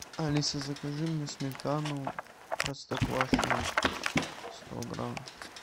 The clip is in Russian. алиса закажи мне сметану простоквашино сто грамм